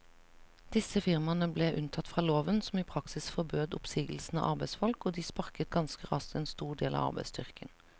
Disse firmaene ble unntatt fra loven som i praksis forbød oppsigelse av arbeidsfolk, og de sparket ganske raskt en stor del av arbeidsstyrken.